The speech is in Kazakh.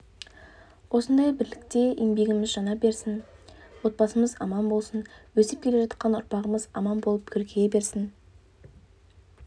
осындай бірлікте еңбегіміз жана берсін отбасымыз аман болсын өсіп келе жатқан ұрпағымыз аман болып көркейе берсін